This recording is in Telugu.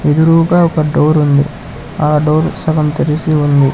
ఎదురూగ ఒక డోర్ ఉంది ఆ డోర్ సగం తెరిసి ఉంది.